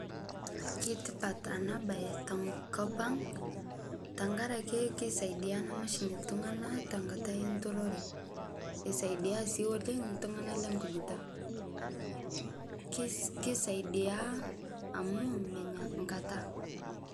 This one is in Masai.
Keutipat ena bae tenkop ang tenkaraki keisadia ena mashini iltunganak tenkata enturore. Keisidai sii oleng iltunganak lenkujita. Keisaidi amuu menya nkata